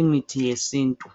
imithi yesintu.